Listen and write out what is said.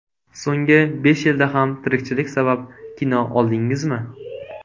So‘nggi besh yilda ham tirikchilik sabab kino oldingizmi?